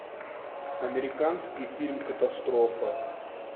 американский фильм катастрофа